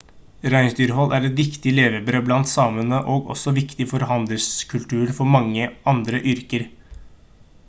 reinsdyrhold er et viktig levebrød blant samene og også viktig for handelskulturen for mange med andre yrker